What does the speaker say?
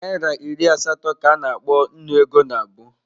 Naịra iri asatọ ka a na-akpọ Nnu ego nabụ.